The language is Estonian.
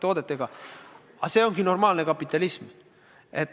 Aga selline ongi normaalne kapitalism.